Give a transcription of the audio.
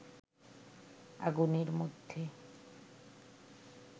আগুনের মধ্যে